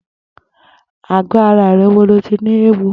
Àgọ̀ àrà rè wó ló ti ni éwó?